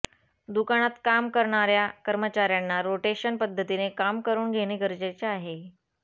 दुकानात काम करणार्या कर्मचार्यांना रोटेशन पद्धतीने काम करुन घेणे गरजेचे आहे